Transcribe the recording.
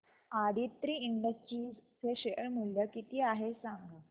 Aditri industries चे share मूल्य किती आहे सांगा